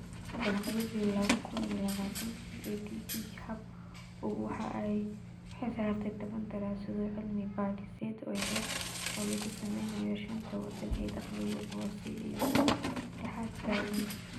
Dabayaaqadii lawa kun iyo lawatanki, EdTech Hub waxa ay u xilsaartay toban daraasadood oo cilmi-baadhiseed oo yar-yar oo laga sameeyay shanta waddan ee dakhligoodu hooseeyo iyo kuwa dhexdhexaadka ah (LMICs).